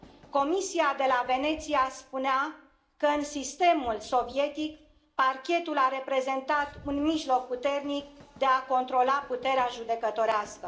Comisia de la Veneția spunea că, în sistemul sovietic, Parchetul a reprezentat un mijloc puternic de a controla puterea judecătorească.